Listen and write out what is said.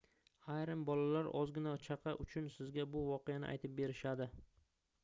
ayrim bolalar ozgina chaqa uchun sizga bu voqeani aytib berishadi